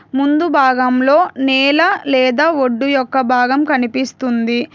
ముందు భాగంలో నేల లేదా ఒడ్డు యొక్క భాగం కనిపిస్తుంది.